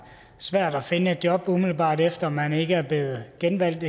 svært at finde et job umiddelbart efter at man eksempelvis ikke er blevet genvalgt